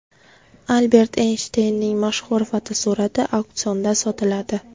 Albert Eynshteynning mashhur fotosurati auksionda sotiladi.